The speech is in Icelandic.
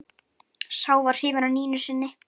Sá var hrifinn af Nínu sinni.